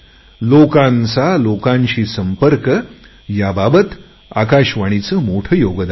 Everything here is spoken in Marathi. लोकांचा लोकांशी संपर्क ह्याबाबत आकाशवाणीचे मोठे योगदान आहे